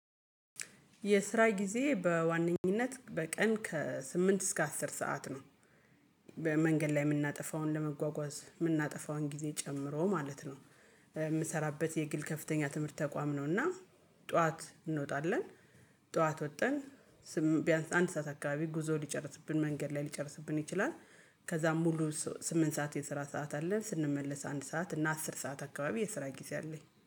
የስራ ጊዜ በዋነኝነት በቀን ከስምንት እስከ አስር ሰዓት ነው። መንገድ ላይ የምናጠፋውን ለመጓጓዝ የምናጠፋውን ጊዜ ጨምሮ ማለት ነው። የምሰራበት የግል ከፍተኛ ትምህርት ተቋም ነውና። ጠዋት እንወጣለን። ጠዋት ወጠን ቢያንስ አንድ ሰዓት አካባቢ ጉዞ ሊጨርስብን መንገድ ላይ ሊጨርስብን ይችላል። ከዛም ሙሉ ስምንት ሰዓት የስራ ሰዓት አለን ስንመለስ አንድ ሰዓት እና አስር ሰዓት አካባቢ የስራ ጊዜ አለኝ